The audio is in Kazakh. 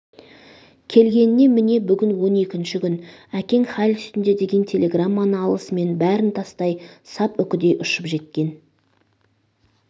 келгенне міне бүгін он екінші күн әкең хәл үстінде деген телеграмманы алысымен бәрін тастай сап үкідей ұшып жеткен